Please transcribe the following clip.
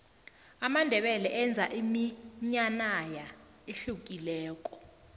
amandebele enza iminyanaya ehlukileko